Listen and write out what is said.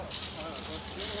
Hə, hara idi?